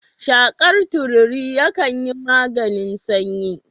Shakar tururi yakan yin maganin sanyi